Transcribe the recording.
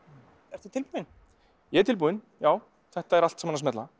ertu tilbúinn ég er tilbúinn já þetta er allt saman að smella